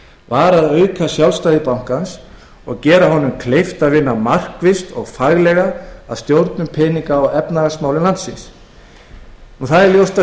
var að auka sjálfstæði bankans og gera honum kleift að vinna markvisst og faglega að stjórnun peninga og efnahagsmála landsins ljóst er að